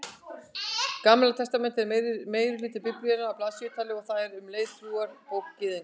Gamla testamentið er meirihluti Biblíunnar að blaðsíðutali og það er um leið trúarbók Gyðinga.